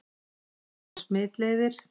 Smit og smitleiðir